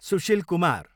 Sushil Kumar